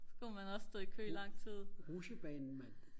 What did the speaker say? så skulle man også stå i kø i lang tid